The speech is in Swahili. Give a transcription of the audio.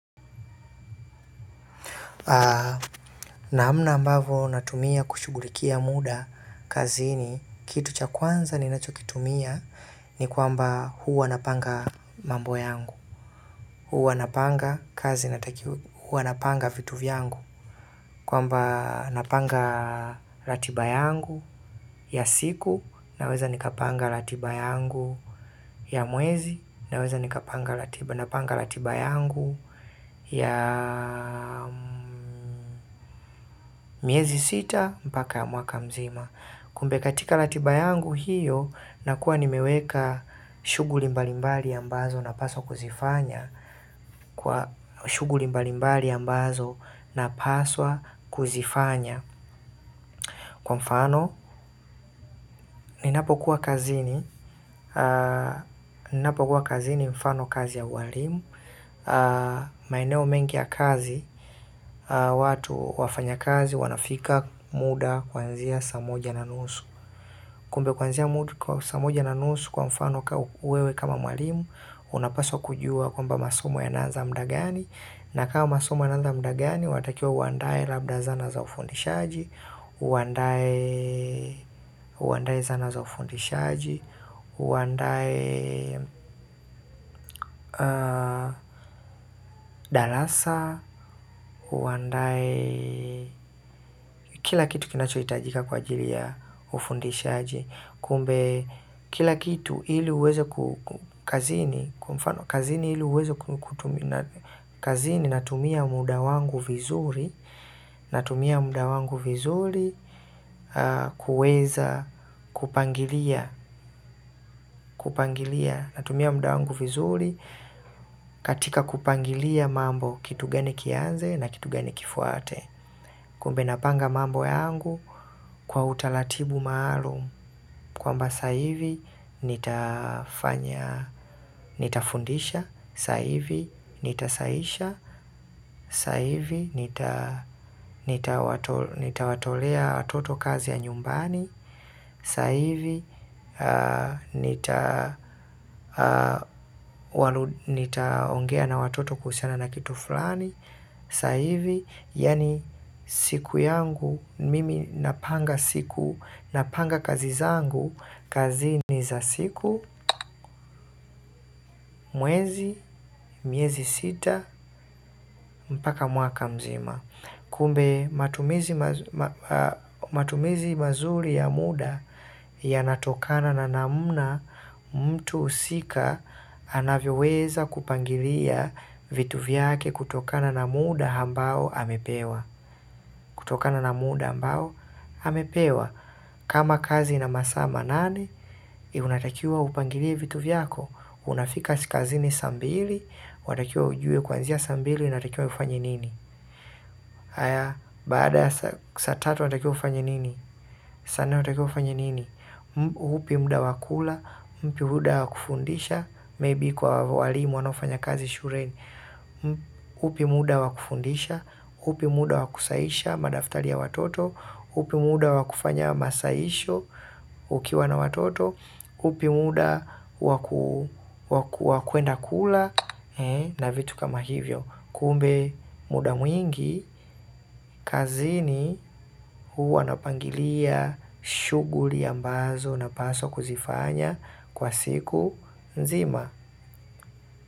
Namna ambavo natumia kushugulikia muda kazini kitu cha kwanza ninacho kitumia ni kwamba huwa napanga mambo yangu. Huwa napanga kazi inatakiwa, huwa napanga vitu vyangu. Kwamba napanga ratiba yangu ya siku naweza nikapanga ratiba yangu ya mwezi naweza nikapanga ratiba yangu ya miezi. Sita mpaka ya mwaka mzima. Kumbe katika ratiba yangu hiyo, nakuwa nimeweka shughuli mbalimbali ambazo napaswa kuzifanya shuguli mbalimbali ambazo napaswa kuzifanya. Kwa mfano, ninapo kuwa kazini. Ninapokuwa kazini mfano kazi ya uwalimu. Maeneo mengi ya kazi. Watu wafanyakazi wanafika muda kuanzia saa moja na nusu. Kumbe kuanzia mtu kwa saa moja na nusu kwa mfano kwa wewe kama mwalimu, unapaswa kujua kwamba masomo yanaanza muda gani. Na kama masumo yanaanza muda gani, watakiwa uandae labda zana za ufundishaji, uandai zana za ufundishaji, uandai darasa, uandae kila kitu kinacho hitajika kwa ajili ya ufundishaji. Kumbe, kila kitu ili uweze kazini, kwa mfano, kazini ili uweze kutumia, kazini, natumia muda wangu vizuri, natumia muda wangu vizuri, kuweza kupangilia, kupangilia, natumia muda wangu vizuri, katika kupangilia mambo kitu geni kianze na kitu gani kifuate. Kumbe napanga mambo yangu kwa utaratibu maalum kwamba sasa hivi nitafundisha, sasa hivi nita sahisha, sasa hivi nitawatolea watoto kazi ya nyumbani, sasa hivi nitaongea na watoto kuhusiana na kitu fulani, sasa hivi, yaani siku yangu, mimi napanga siku, napanga kazi zangu, kazini za siku, mwezi, miezi sita, mpaka mwaka mzima. Kumbe, matumizi mazuri ya muda yanatokana na namna, mtu husika anavyoweza kupangilia vitu vyake kutokana na muda ambao amepewa kutokana na muda ambao, amepewa. Kama kazi ina masaa manane, unatakiwa upangilie vitu vyako. Unafika kazini saa mbili, unatakiwa ujue kuanzia saa mbili, unatakiwa ufanye nini. Haya baada saa tatu watakiwa ufanye nini saa nne watakiwa ufanye nini upi muda wa kula upi muda wakufundisha maybe kwa walimu wanaofanya kazi shuleni upi muda wakufundisha upi muda wakusahisha madaftali ya watoto upi muda wakufanya masahisho ukiwa na watoto upi muda wakwenda kula na vitu kama hivyo. Kumbe muda mwingi, kazini huwa napangilia shuguli ambazo napaswa kuzifanya kwa siku nzima.